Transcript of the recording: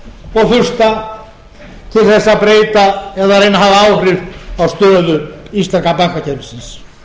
og þurft til þess að breyta eða reyna að hafa áhrif á stöðu íslenska bankakerfisins